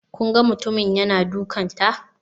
Kun ga mutumin yana dukanta?